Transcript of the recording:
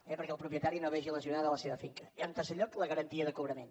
eh perquè el propietari no vegi lesionada la seva finca i en tercer lloc la garantia de cobrament